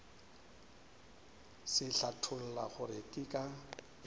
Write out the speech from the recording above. se hlatholla gore ke ka